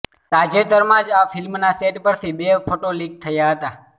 તાજેતરમાં જ આ ફિલ્મના સેટ પરથી બે ફોટો લીક થયાં હતાં